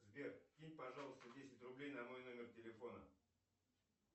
сбер кинь пожалуйста десять рублей на мой номер телефона